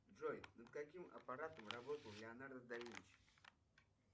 джой над каким аппаратом работал леонардо да винчи